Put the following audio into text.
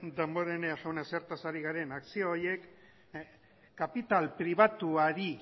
damborenea jauna zertaz ari garen akzio horiek kapital pribatuari